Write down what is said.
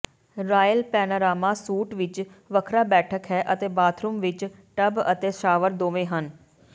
royal panorama suite ਵਿੱਚ ਵੱਖਰਾ ਬੈਠਕ ਹੈ ਅਤੇ ਬਾਥਰੂਮ ਵਿੱਚ ਟੱਬ ਅਤੇ ਸ਼ਾਵਰ ਦੋਵੇਂ ਹਨ